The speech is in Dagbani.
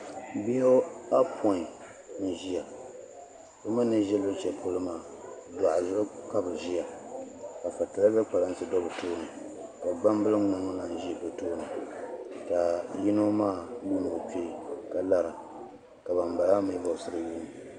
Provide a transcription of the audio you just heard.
bihi ayɔpɔin n-ʒia bɛ mi ni ʒi luɣishɛli polo maa dɔɣu zuɣu ka bɛ ʒia ka patireeza kpalansi do bɛ tooni ka gbambil' ŋmaŋ lahi ʒi bɛ tooni ka yino maa yuuni o kpee ka lara ka bambala maa mi vabisiri yuundi o